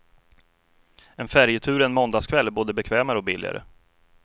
En färjetur en måndagskväll är både bekvämare och billigare.